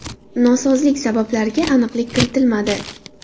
Nosozlik sabablariga aniqlik kiritilmadi.